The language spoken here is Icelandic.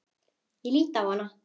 Ég lít á hana.